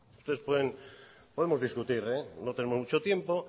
podemos discutir no tenemos mucho tiempo